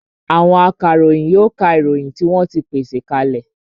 Àwọn akaròyìn yóò ka ìròyìn tí wọ́n ti pèsè ka lẹ̀